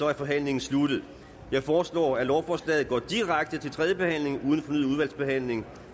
er forhandlingen sluttet jeg foreslår at lovforslaget går direkte til tredje behandling uden fornyet udvalgsbehandling